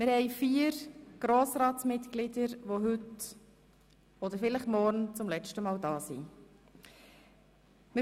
Es gibt vier Grossratsmitglieder, die heute oder vielleicht morgen zum letzten Mal hier sein werden.